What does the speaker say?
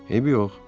Eybi yox.